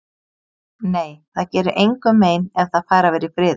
Nei, það gerir engum mein ef það fær að vera í friði.